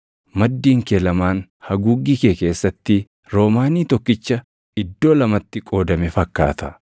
Maddiin kee lamaan haguuggii kee keessatti roomaanii tokkicha iddoo lamatti qoodame fakkaata.